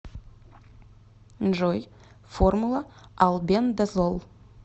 джой формула албендазол